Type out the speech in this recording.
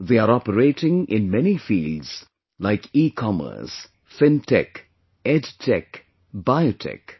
They are operating in many fields like Ecommerce, FinTech, EdTech, BioTech